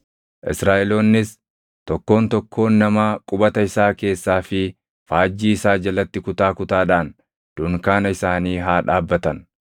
Israaʼeloonnis tokkoon tokkoon namaa qubata isaa keessaa fi faajjii isaa jalatti kutaa kutaadhaan dunkaana isaanii haa dhaabbatan.